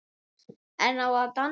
En á að dansa?